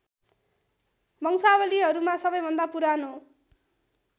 वंशावलीहरूमा सबैभन्दा पुरानो